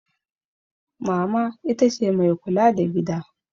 Mama ita ce mai kula da gida.